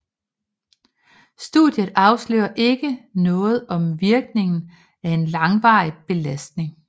Studiet afslører ikke noget om virkningen af en langvarig belastning